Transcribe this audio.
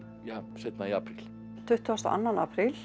seinna í apríl tuttugasta og annan apríl